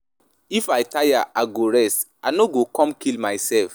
If I tire I go rest, I no go come kill myself.